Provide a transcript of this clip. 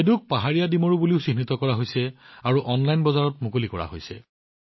বেডুক পাহাৰীয়া অঞ্জীৰ হিচাপেও চিহ্নিত কৰা হৈছে আৰু অনলাইন বজাৰলৈ অনা হৈছে